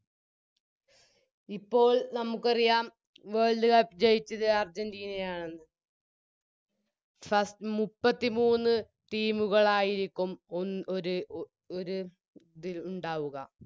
ഇപ്പോൾ നമുക്കറിയാം World cup ജയിച്ചത് അർജന്റീനയാണെന്ന് ഫസ്സ് മുപ്പത്തിമൂന്ന് Team ഉകളായിരിക്കും ഒൻ ഒര് ഒ ഒര് തിൽ ഉണ്ടാവുക